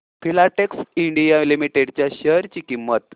Filatex India limited च्या share ची किंमत